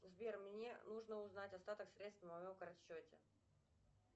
сбер мне нужно узнать остаток средств на моем картсчете